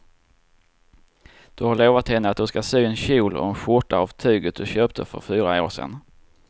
Du har lovat henne att du ska sy en kjol och skjorta av tyget du köpte för fyra år sedan.